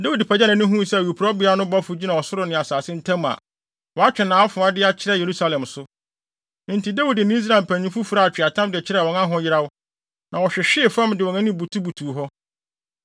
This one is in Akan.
Dawid pagyaw nʼani huu sɛ Awurade bɔfo no gyina ɔsoro ne asase ntam a, watwe nʼafoa de akyerɛ Yerusalem so. Enti Dawid ne Israel mpanyimfo furaa atweaatam de kyerɛɛ wɔn ahoyeraw, na wɔhwehwee fam de wɔn anim butubutuw hɔ.